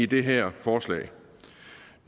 det her forslag